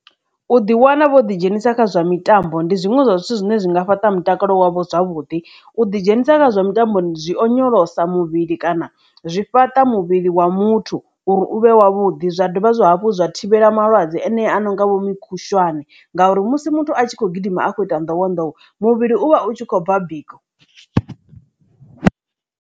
U ḓi wana vho ḓi dzhenisa kha zwa mitambo ndi zwiṅwe zwa zwithu zwine zwi nga fhaṱa mutakalo wavho zwavhuḓi u ḓi dzhenisa kha zwa mitambo zwi onyolosa muvhili kana zwi fhaṱa muvhili wa muthu uri uvhe u wavhuḓi zwa dovha zwa hafhu zwa thivhela malwadze ane a no nga vho mukhushwane ngauri musi muthu a tshi khou gidima akho ita nḓowenḓowe muvhili uvha u tshi khou bva biko.